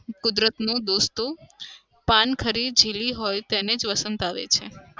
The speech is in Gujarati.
કુદરતનો દોષ તો પાન ખરી ઝીલી હોય તેને જ વસંત આવે છે.